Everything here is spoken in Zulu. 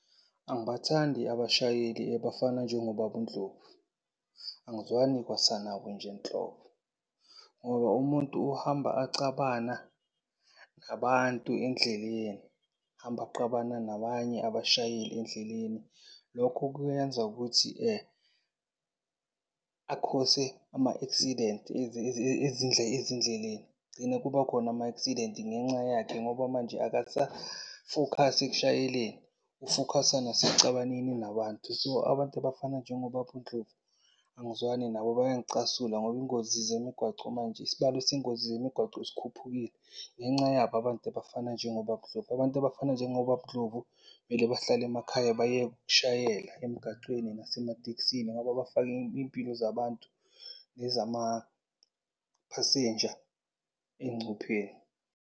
Angibathandi abashayeli ebafana njengobaba uNdlovu. Angizwani kwasanabo nje nhlobo. Ngoba umuntu ohamba acabana nabantu endleleni, ahamba aqabana nabanye abashayeli endleleni lokho kuyenza ukuthi a-cause-e ama-accident ezindleleni. Kugcine kuba khona ama-accident ngenxa yakhe ngoba manje akasafokhasi ekushayeleni. Ufokhasa nasecabaneni nabantu. So, abantu abafana njengobaba uNdlovu angizwani nabo bayangicasula ngoba ingozi zemigwaco manje, isibalo sengozi zemigwaco sikhuphukile ngenca yabo abantu abafana njengobaba uNdlovu. Abantu abafana njengobaba uNdlovu kumele bahlale emakhaya bayeke ukushayela emgacweni nasematekisini ngoba bafaka iy'mpilo zabantu nezamaphasenja engcupheni.